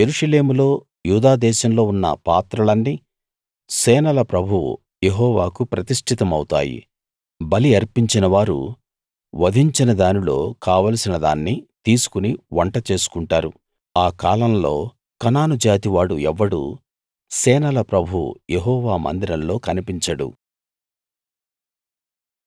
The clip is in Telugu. యెరూషలేములో యూదా దేశంలో ఉన్న పాత్రలన్నీ సేనల ప్రభువు యెహోవాకు ప్రతిష్టితమౌతాయి బలి అర్పించినవారు వధించిన దానిలో కావలసినదాన్ని తీసుకుని వంట చేసుకుంటారు ఆ కాలంలో కనాను జాతివాడు ఎవ్వడూ సేనల ప్రభువు యెహోవా మందిరంలో కనిపించడు